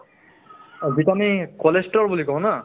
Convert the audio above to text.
অ, যিটো আমি cholesterol বুলি কওঁ না